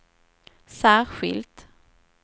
särskilt